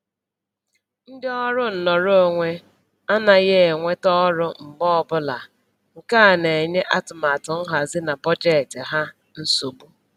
Ndị ọrụ nnọrọonwe anaghị enweta ọrụ mgbe ọbụla, nke a na-enye atụmatụ nhazi na bọjetị ha nsogbu